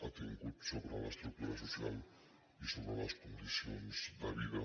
ha tingut sobre l’estructura social i sobre les condicions de vida